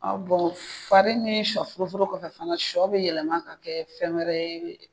fari ni shɔ furu furu kɔfɛ fana shɔ bɛ yɛlɛma k'a kɛ fɛn wɛrɛ ye.